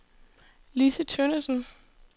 Lissi Tønnesen